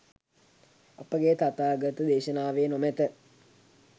අපේ තථාගත දේශනාවේ නොමැත